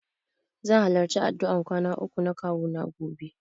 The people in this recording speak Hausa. Zan halarci addu'ar kwana uku na kawuna gobe.